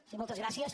sí moltes gràcies